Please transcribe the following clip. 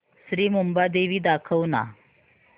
श्री मुंबादेवी दाखव ना